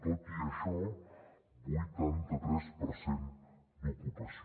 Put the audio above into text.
tot i això vuitanta tres per cent d’ocupació